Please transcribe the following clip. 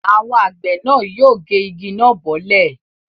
Àwọn àgbẹ̀ náà yóò gé igi náà bọ́lẹ̀.